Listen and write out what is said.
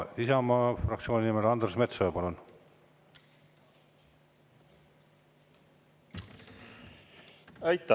Isamaa fraktsiooni nimel Andres Metsoja, palun!